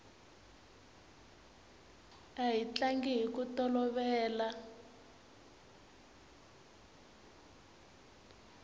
a hi tlanga hiku tolovela